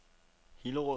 Hillerød